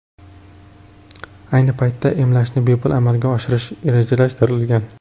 Ayni paytda emlashni bepul amalga oshirish rejalashtirilgan.